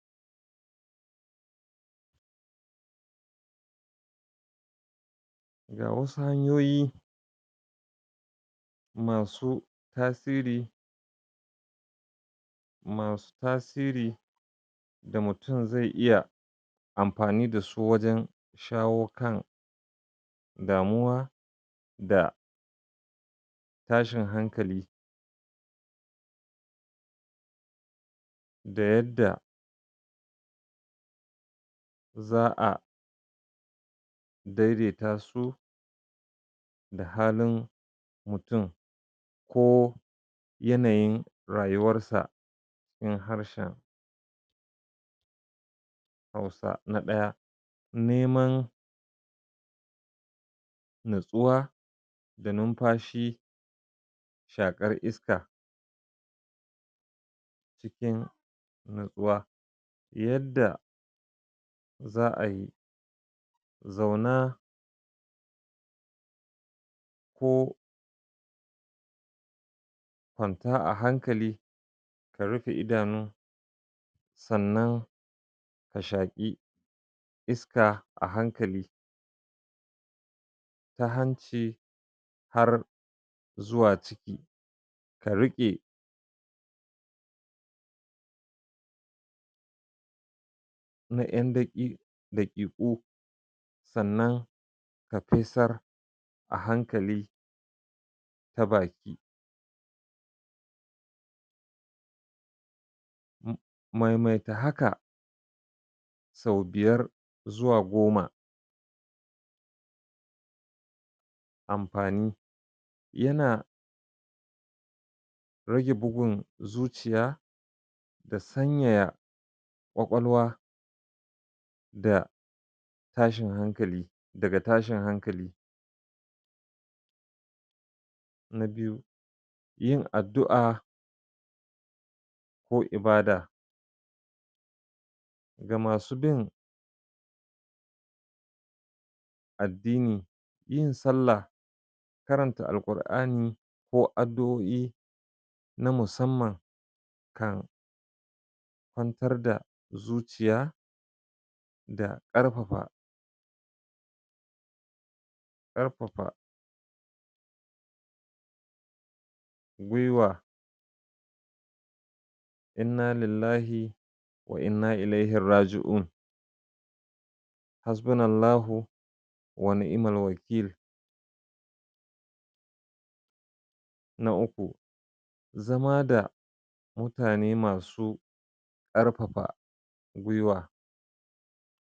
[paused] ga wasu hanyoyi masu tasiri masu tasiri da mutum zai iya amfani dasu wajan shawo kan damuwa da tashin hankali da yadda za'a daidaita su da halin mutum ko yana yin rayuyar sa in harshen hausa na ɗaya ne man natsuwa da numfashi shaƙar iska cikin natsuwa yadda za'ayi zauna ko kwanta a hankali ka rufe idanun sannan ka shaƙi iska a hankali ta hanci har zuwa ka riƙe na ƴan daƙi daƙiƙo san nan ka fesar a hankali ta baki maimaita haka sau biyar zuwa goma amfa ni yana rege bugun zuciya da sanyaya kwakwalwa da tashin hankali daga tashin hankali na biyu yin adddu'a ko ibada ga masu bin addini yin sallah karanta alƙur'ani ko addu'o'i na musan man kan kwantar da zuciya da ƙarfafa ƙarfafa gwiwa innalillahi wa'inna ilaihirraji'un hasbunallahu wa ni'imalwakil na uku zama da mutane masu karfafa gwiwa